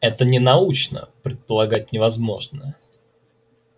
это ненаучно предполагать невозможное